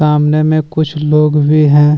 सामने में कुछ लोग भी हैं।